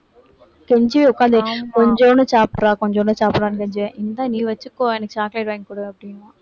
கெஞ்சி உட்கார்ந்தாச்சு கொஞ்சோண்டு சாப்பிட்றா கொஞ்சோண்டு சாப்பிடறான்னு கெஞ்சுவேன் இந்தா நீ வச்சுக்கோ எனக்கு chocolate வாங்கி கொடு அப்படிம்பான்